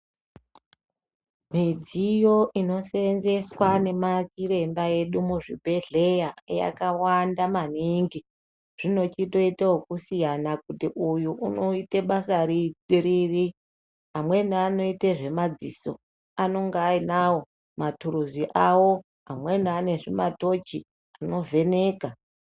Midziyo inosenzeswa nemachiremba edu muzvibhehleya yakawanda maningi zvinochitoito okusiyana kuti uyu inoite basa riri. Amweni anoite zvemadziso anonga ainawo maturuzi awo. Amweni ane zvimatochi zvinovheneka.